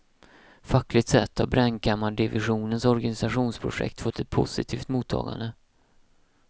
Fackligt sett har brännkammardivisionens organisationsprojekt fått ett positivt mottagande.